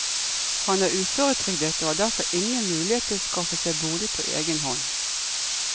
Han er uføretrygdet og har derfor ingen mulighet til å skaffe seg bolig på egen hånd.